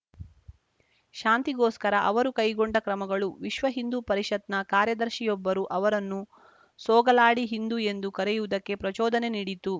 ಶಾಂತಿಗೋಸ್ಕರ ಅವರು ಕೈಗೊಂಡ ಕ್ರಮಗಳು ವಿಶ್ವ ಹಿಂದೂ ಪರಿಷತ್‌ನ ಕಾರ್ಯದರ್ಶಿಯೊಬ್ಬರು ಅವರನ್ನು ಸೋಗಲಾಡಿಹಿಂದೂ ಎಂದು ಕರೆಯುವುದಕ್ಕೆ ಪ್ರಚೋದನೆ ನೀಡಿತು